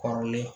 Kɔrɔlen